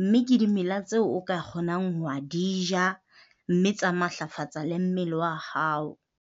mme ke dimela tseo o ka kgonang ho di ja, mme tsa matlafatsa le mmele wa hao.